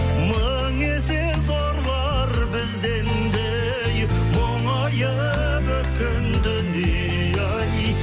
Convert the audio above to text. мың есе зорлар бізден де ей мұңайып өткен дүние ай